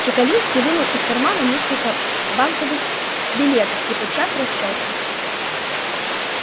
чекалинский вынул из кармана несколько банковых билетов и тотчас расчёлся